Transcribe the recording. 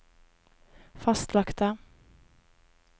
fastlagte